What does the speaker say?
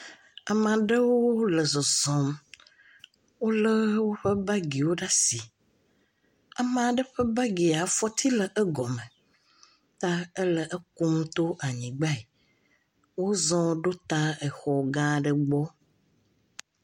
Ame aɖewo le zɔzɔm Wòle woƒe bagiwo ɖe asi. Ame aɖe ƒe bagia, afɔti le egɔme ta ele ekum tɔ anyigbae. Wo zɔ ɖo ta exɔ gã aɖe gbɔ.